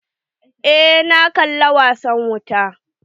Eh na kalla wasan wuta.